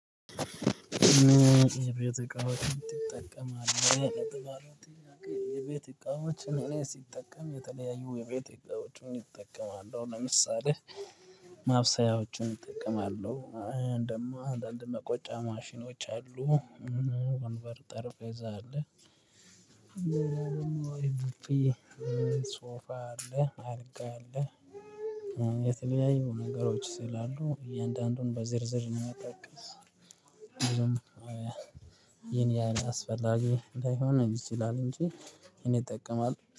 የቤት እቃዎችን ትጠቀማህ? የቤት እቃዎችን እኔ ሲጠቀም የተለያዩ የቤት እቃዎችን እጠቀማለሁ ለምሳሌ ማብሰያዎችን እጠቀማለሁ። ደሞ አንዳነድ ሙቀጫ ማሽኖች። ወንበር ጠርፌዛ አለ። ሶፋ አለ አልጋ አለ። የተለያዩ ነገሮች ስላሉ እያንዳንዱን በዝርዝር ነው የሚጠቀም። ይሄን ያን አስፈላጊ ላይሆን ይችላል እንጂ እኔ እጠቀማለሁ